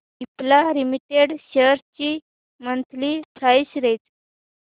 Cipla limited shares ची monthly price range